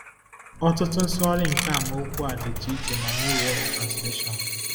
Ọtụtụ nsụgharị nke amaokwu a dịtụ iche na New World Translation